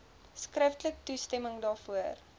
skriftelik toestemming daarvoor